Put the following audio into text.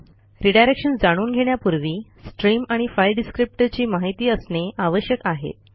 redirection जाणून घेण्यापूर्वी stream आणि फाइल डिस्क्रिप्टर ची माहिती असणे आवश्यक आहे